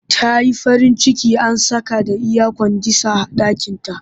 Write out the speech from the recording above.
Ta yi farin ciki an saka da iyakwandisah a ɗakinta